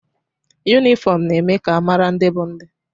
Yunifọmụ na-eme ka a mara ndị bụ ndị.